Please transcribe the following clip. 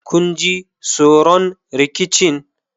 kun ji tsoron rikicin?